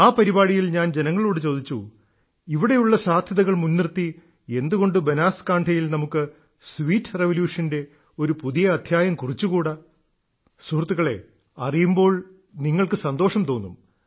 ആ പരിപാടിയിൽ ഞാൻ ജനങ്ങളോട് ചോദിച്ചു ഇവിടെയുള്ള സാധ്യതകൾ മുൻനിർത്തി എന്തുകൊണ്ട് ബനാസ്കാൺഠയിൽ നമുക്ക് സ്വീറ്റ് റെവല്യൂഷന്റെ ഒരു പുതിയ അദ്ധ്യായം കുറിച്ചുകൂടാ സുഹൃത്തുക്കളേ അറിയുമ്പോൾ നിങ്ങൾക്ക് സന്തോഷം തോന്നും